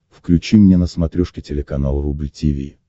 включи мне на смотрешке телеканал рубль ти ви